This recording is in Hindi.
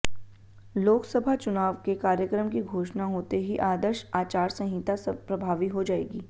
लोकसभा चुनाव के कार्यक्रम की घोषणा होते ही आदर्श आचार संहिता प्रभावी हो जाएगी